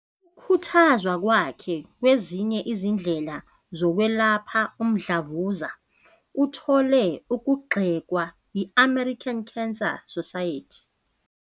Ukukhuthazwa kwakhe kwezinye izindlela zokwelapha umdlavuza uthole ukugxekwa yi- American Cancer Society.